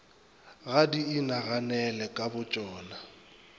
ga di inaganele ka botšona